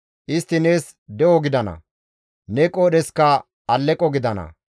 Istti nees de7o gidana; ne qoodheskka aleqo gidana.